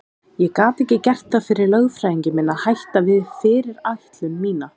Ég gat ekki gert það fyrir lögfræðing minn að hætta við fyrirætlun mína.